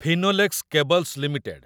Finolex Cables limited